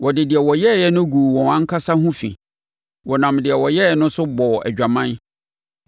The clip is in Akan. Wɔde deɛ wɔyɛeɛ no guu wɔn ankasa ho fi; wɔnam deɛ wɔyɛeɛ no so bɔɔ adwaman.